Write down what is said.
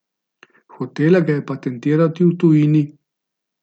Hotela ga je patentirati v tujini.